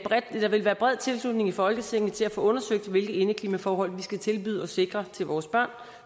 at der ville være bred tilslutning i folketinget til at få undersøgt hvilke indeklimaforhold vi skal tilbyde og sikre vores børn